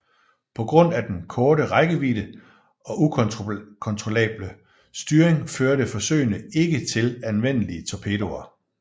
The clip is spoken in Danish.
På grund af den korte rækkevidde og ukontrollable styring førte forsøgene ikke til anvendelige torpedoer